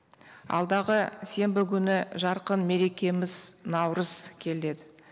алдағы сенбі күні жарқын мерекеміз наурыз келеді